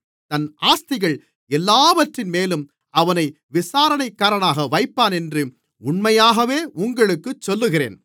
தன் ஆஸ்திகள் எல்லாவற்றின்மேலும் அவனை விசாரணைக்காரனாக வைப்பான் என்று உண்மையாகவே உங்களுக்குச் சொல்லுகிறேன்